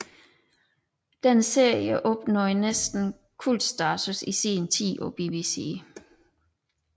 Denne serie opnåede næsten kultstatus i sin tid på BBC